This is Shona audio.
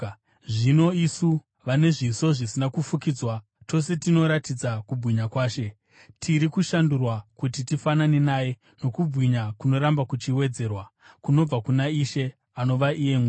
Zvino isu, vane zviso zvisina kufukidzwa tose tinoratidza kubwinya kwaShe, tiri kushandurwa kuti tifanane naye nokubwinya kunoramba kuchiwedzerwa, kunobva kuna Ishe, anova iye Mweya.